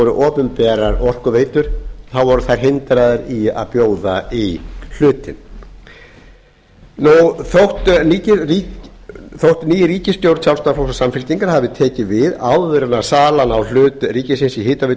opinberar orkuveitur hindraðar í að bjóða í hlutinn þótt ný ríkisstjórn sjálfstæðisflokks og samfylkingar hafi tekið við áður en salan á hlut ríkisins í hitaveitu